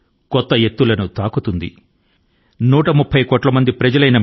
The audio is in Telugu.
130 కోట్ల మంది దేశవాసుల సామూహిక శక్తి ని నేను గట్టిగా నమ్ముతున్నాను అందులో మీ అందరూ ఉన్నారు